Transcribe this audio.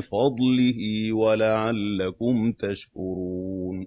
فَضْلِهِ وَلَعَلَّكُمْ تَشْكُرُونَ